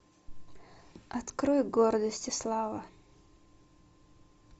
открой гордость и слава